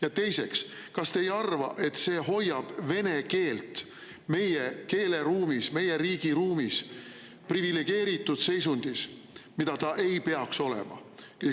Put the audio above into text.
Ja teiseks, kas te ei arva, et see hoiab vene keelt meie keeleruumis, meie riigi ruumis privilegeeritud seisundis, kus see ei peaks olema?